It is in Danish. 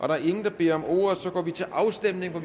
der er ingen der beder om ordet og så går vi til afstemning